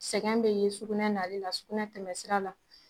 Sɛgɛn bɛ ye sugunɛ nali la sugunɛ tɛmɛsira la